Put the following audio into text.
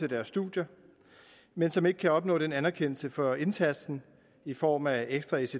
deres studier men som ikke kan opnå en anerkendelse for indsatsen i form af ekstra ects